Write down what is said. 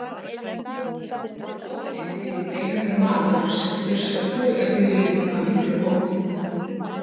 Við kollinn krýpur beinaber maður sem burstar kúrekastígvélin mín af miklum móð.